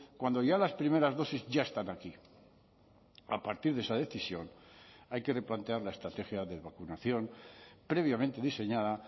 cuando ya las primeras dosis ya están aquí a partir de esa decisión hay que replantear la estrategia de vacunación previamente diseñada